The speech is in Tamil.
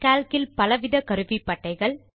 கால்க் இல் பலவித கருவிப்பட்டைகள்